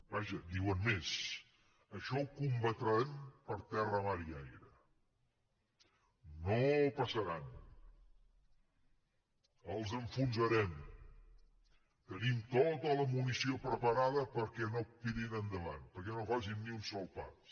vaja diuen més això ho combatrem per terra mar i aire no passaran els enfonsarem tenim tota la munició preparada perquè no tirin endavant perquè no facin ni un sol pas